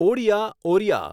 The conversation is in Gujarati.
ઓડિયા/ઓરિયા